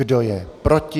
Kdo je proti?